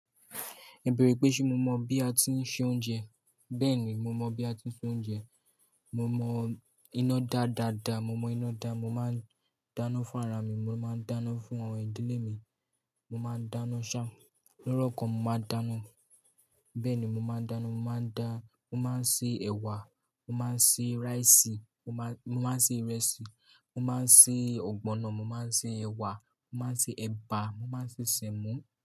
Ẹ bẹrẹ pé ṣé mo mọ̀ bí a tí ń se oúnjẹ. Bẹ́ẹ̀ni, mo mọ̀ bí a tí ń se oúnjẹ. Mo mọ iná dáa dáadáa. Mo mọ iná dáa. Mo máa ń dáná fún ara mi, mo máa ń dáná fún àwọn ìdílé mi. Mo máa ń dáná ṣá, lọ́rùkọ mo máa ń dáná. Bẹ́ẹ̀ni, mo máa ń dáná. Mo máa ń dá, mo máa ń se ẹ̀wà, mo máa ń se rice, mo má, mo máa ń se ìrẹsì, mo máa ń se ọ̀gbọ̀nọ̀, mo máa ń se ẹ̀wà, mo máa ń se ẹ̀bà, mo máa ń se semo.